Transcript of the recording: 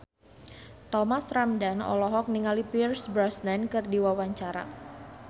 Thomas Ramdhan olohok ningali Pierce Brosnan keur diwawancara